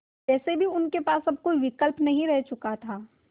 वैसे भी उनके पास में अब कोई भी विकल्प नहीं रह चुका था